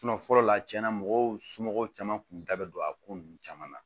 fɔlɔ la tiɲɛna mɔgɔw somɔgɔw caman kun da bɛ don a ko ninnu caman na